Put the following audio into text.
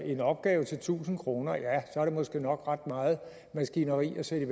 en opgave til tusind kroner er det måske nok ret meget maskineri at sætte i